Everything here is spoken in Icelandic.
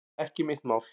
Ekki mitt mál